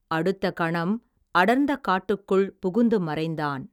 அடுத்த கணம், அடர்ந்த காட்டுக்குள், புகுந்து மறைந்தான்.